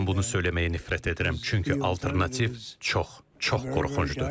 Mən bunu söyləməyə nifrət edirəm, çünki alternativ çox, çox qorxuncdur.